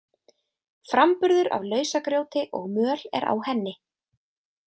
Framburður af lausagrjóti og möl er á henni.